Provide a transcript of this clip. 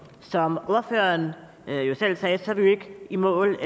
som ordføreren selv sagde er vi ikke i mål